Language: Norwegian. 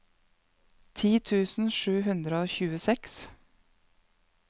ti tusen sju hundre og tjueseks